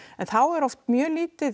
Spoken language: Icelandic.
þá er oft mjög lítið